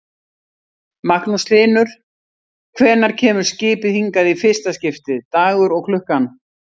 Magnús Hlynur: Hvenær kemur skipið hingað í fyrsta skiptið, dagur og klukkan?